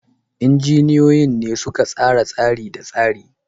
Injiniyoyin ne suka tsara tsari da tsari.